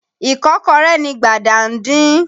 Ìkọ́kọrẹ́ ni Gbàdà ń din.